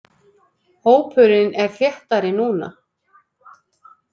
Hópurinn er þéttari núna.